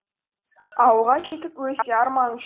ауылға жетіп өлсе арманы